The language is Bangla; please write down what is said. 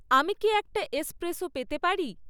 আমি কি একটা এসপ্রেসো পেতে পারি?